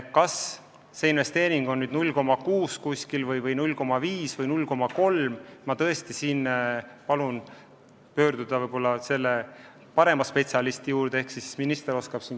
Kas see konkreetne investeering on 0,6 miljonit või 0,5 või 0,3 – ma tõesti palun pöörduda parema spetsialisti poole.